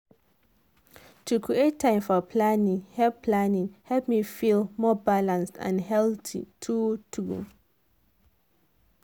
to create time for planning help planning help me feel more balanced and healthy true true.